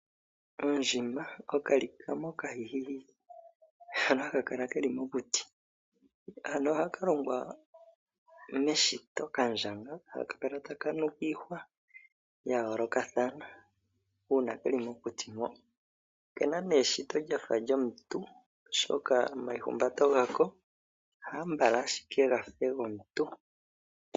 Ondjima , okalikama okahihihihi hono haka kala keli mokuti. Ano ohaka longwa meshito ka ndjanga haka kala taka nuka iihwa ya yoolokathana uuna keli mokuti mo. Oke na nee eshito lyafa lyomuntu oshoka omaihumbato gako ambala ashike gafe gomuntu.